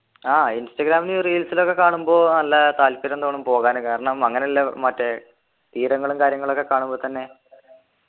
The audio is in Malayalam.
ആഹ് ഇൻസ്റ്റഗ്രാമില് reels ൽ ഒക്കെ കാണുമ്പോ നല്ല താല്പര്യം തോന്നും പോകാന് കാരണം അങ്ങനെയില്ല മറ്റേ തീരങ്ങളും കാര്യങ്ങളും ഒക്കെ കാണുമ്പോ തന്നെ